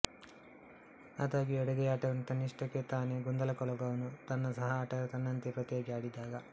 ಅದಾಗ್ಯೂ ಎಡಗೈ ಆಟಗಾರನು ತನ್ನಿಷ್ಟಕ್ಕೆ ತಾನೇ ಗೊಂದಲಕೊಳಗಾಗುವನು ತನ್ನ ಸಹ ಆಟಗಾರ ತನ್ನಂತೆಯೇ ಪ್ರತಿಯಾಗಿ ಆಡಿದಾಗ